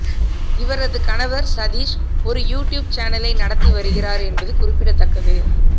இவரது கணவர் சதீஷ் ஒரு யூடியூப் சேனலை நடத்தி வருகிறார் என்பது குறிப்பிடத்தக்கது